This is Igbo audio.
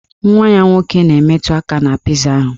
Nwa ya nwoke na-emetụ aka na piza ahụ